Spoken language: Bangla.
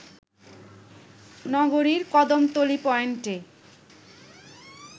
নগরীর কদমতলী পয়েন্টে